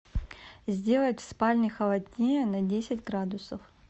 сделать в спальне холоднее на десять градусов